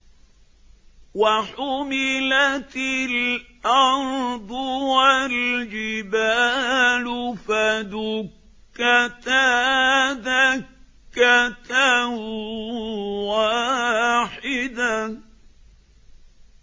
وَحُمِلَتِ الْأَرْضُ وَالْجِبَالُ فَدُكَّتَا دَكَّةً وَاحِدَةً